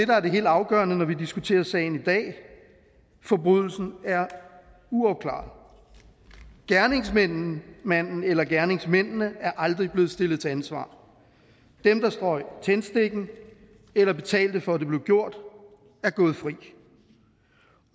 der er det helt afgørende når vi diskuterer sagen i dag at forbrydelsen er uopklaret gerningsmanden eller gerningsmændene er aldrig blevet stillet til ansvar dem der strøg tændstikken eller betalte for at det blev gjort er gået fri